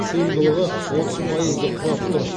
сыйымдылығы отыз пайызды құрап отыр